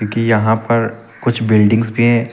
की यहां पर कुछ बिल्डिंग्स भी हैं।